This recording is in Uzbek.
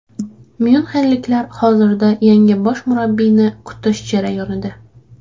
Myunxenliklar hozirda yangi bosh murabbiyni kutish jarayonida.